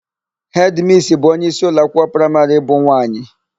Hedịmissi bụ onyeisi ụlọakwụkwọ praịmarị bụ nwaanyị.